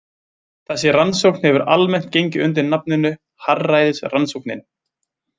Þessi rannsókn hefur almennt gengið undir nafninu harðræðisrannsóknin.